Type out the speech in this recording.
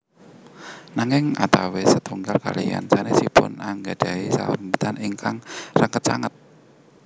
Nanging antawis setunggal kaliyan sanesipun anggadhahi sesambetan ingkang raket sanget